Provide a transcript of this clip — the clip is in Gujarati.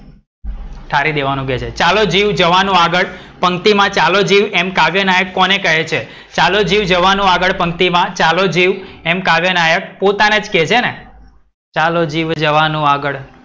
ઠાળી દેવાનું કે છે. ચાલો જીવ જવાનો આગડ પંક્તિ માં ચાલો જીવ એમ કાવ્ય નાયક કોને કહે છે? ચાલો જીવ જવાનો આગડ પંક્તિ માં ચાલો જીવ એમ કાવ્ય નાયક પોતાને જ કહે છે ને, ચાલો જીવ જવાનો આગડ.